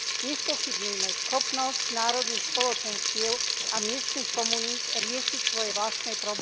Nespochybňujme schopnosť národných spoločenstiev a miestnych komunít riešiť svoje vlastné problémy.